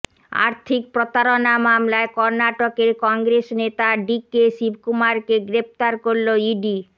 আর্থিক প্রতারণা মামলায় কর্নাটকের কংগ্রেস নেতা ডিকে শিবকুমারকে গ্রেফতার করল ইডি